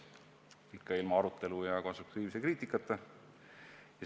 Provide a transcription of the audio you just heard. Ja ikka ilma arutelu ja konstruktiivse kriitikata.